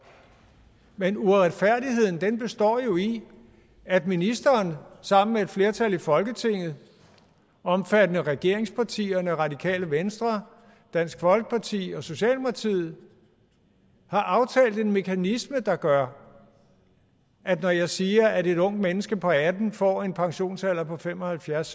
men uretfærdigheden består jo i at ministeren sammen med et flertal i folketinget omfattende regeringspartierne og radikale venstre og dansk folkeparti og socialdemokratiet har aftalt en mekanisme der gør at når jeg siger at et ungt menneske på atten år får en pensionsalder på fem og halvfjerds